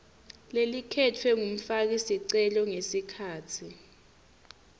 lelikhetfwe ngumfakisicelo ngesikhatsi